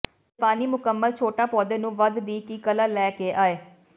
ਜਪਾਨੀ ਮੁਕੰਮਲ ਛੋਟਾ ਪੌਦੇ ਨੂੰ ਵਧ ਦੀ ਕਲਾ ਲੈ ਕੇ ਆਏ